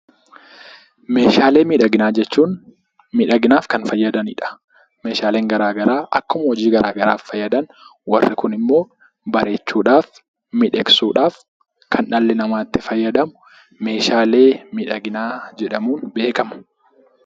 Meeshaalee miidhaginaa jechuun miidhaginaaf kan nu fayyadani dha. Meeshaaleen garaagaraa akkuma hojii garaagaraaf fayyadan warri kun immoo, bareechuudhaaf, miidhagsuudhaaf kan dhalli namaa itti fayyadamu meeshaalee miidhaginaa jedhamuun beekamu